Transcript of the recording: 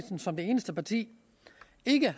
som det eneste parti